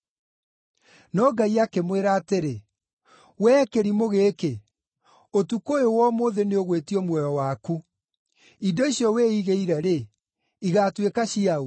“No Ngai akĩmwĩra atĩrĩ, ‘Wee kĩrimũ gĩkĩ! Ũtukũ ũyũ wa ũmũthĩ nĩũgwĩtio muoyo waku. Indo icio wĩigĩire-rĩ, igaatuĩka cia ũ?’